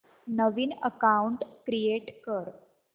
नवीन account create कर